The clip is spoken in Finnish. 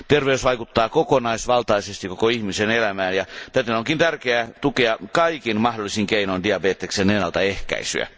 Terveys vaikuttaa kokonaisvaltaisesti koko ihmisen elämään, ja täten onkin tärkeää tukea kaikin mahdollisin keinoin diabeteksen ennaltaehkäisyä.